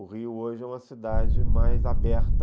O Rio hoje é uma cidade mais aberta...